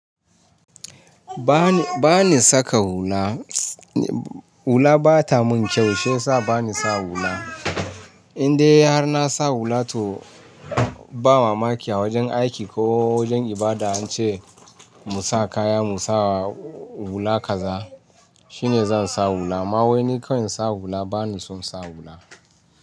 Ba ni, ba ni saka hula. Hula ba ta mun kyau shiyasa bani sa hula. Indai har na sa hula to ba mamaki a wajen aiki ko wajen ibada an ce mu sa kaya mu sa hula kaza shine zan sa hula. Amma wai ni kam in sa hula bani son sa hula.